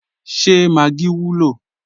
Ṣé Maggi wùlọ?